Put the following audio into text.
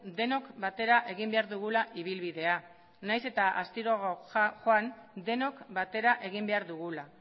denok batera egin behar dugula ibilbidea nahiz eta astiroago joan denok batera egin behar dugula